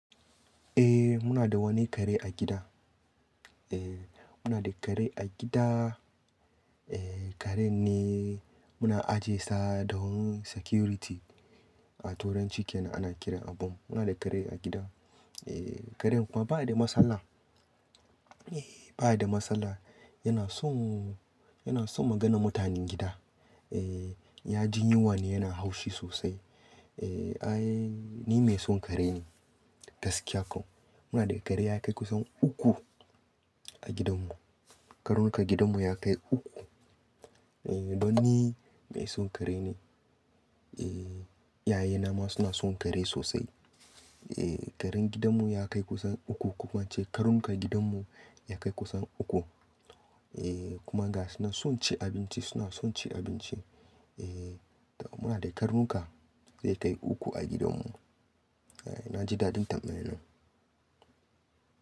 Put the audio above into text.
Eh muna da wani kare a gida. Eh muna da kare a gida. Eh karen ne muna aje sa don security a toranci kena ana kiran abun. Muna da kare a gida. Eh karen kuma bai da matsala. Eh bai da matsala. Yana son, yana son maganan mutanen gida. Eh ya ji yunwa ne yana haushi sosai. Eh ai ni mai son kare ne gaskiya kam. Muna da kare ya kai kusan uku a gidanmu. Karnuka gidanmu ya kai uku. Eh don ni mai son kare ne. Eh iyayena ma suna son kare sosai. Eh karen gidanmu ya kai kusan uku. Ko kuma in ce karnukan gidanmu ya kai kusan uku. Eh kuma ga suna son ci abinci suna son ci abinci. Eh muna da karnuka zai kai uku a gidanmu. Eh na ji dadin tambayan nan.